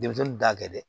Denmisɛnnin t'a kɛ dɛ